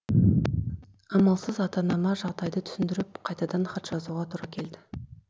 амалсыз ата анама жағдайды түсіндіріп қайтадан хат жазуға тура келді